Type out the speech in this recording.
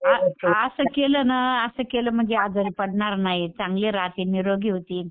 असं केलं ना असं केलं म्हणजे आजारी पडणार नाही, चांगले राहतील, निरोगी होतील.